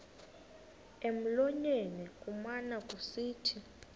emlonyeni kumane kusithi